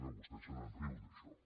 vostè se’n riu d’això